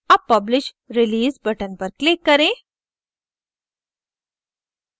अब publish release button पर click करें